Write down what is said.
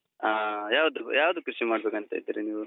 ಹಾ ಯಾವ್ದ್ ಯಾವ್ದು ಕೃಷಿ ಮಾಡ್ಬೇಕಂತ ಇದ್ದೀರಿ ನೀವು?